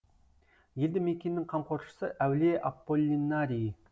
елді мекеннің қамқоршысы әулие аполлинарий